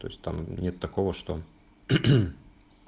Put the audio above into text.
то есть там нет такого что